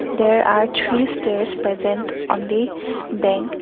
there are three stairs present on the bank.